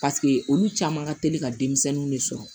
Paseke olu caman ka teli ka denmisɛnninw de sɔrɔ